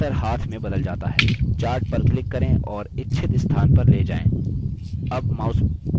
chart पर click करें और इच्छित स्थान पर ले जाएँ अब mouse का button छोड़ें